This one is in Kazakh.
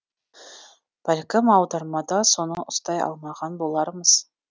бәлкім аудармада соны ұстай алмаған болармыз